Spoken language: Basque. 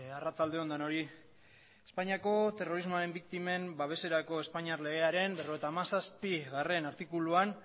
arratsalde on denoi espainiako terrorismoaren biktimen babeserako espainiar legearen berrogeita hamazazpigarrena artikuluan